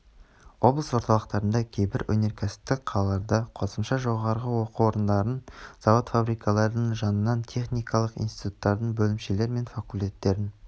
облыс орталықтарында кейбір өнеркәсіптік қалаларда қосымша жоғарғы оқу орындарын завод-фабрикалардың жанынан техникалық институттардың бөлімшелер мен факультеттерін